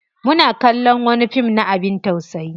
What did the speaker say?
Muna kallon wani fim na abin tausayi.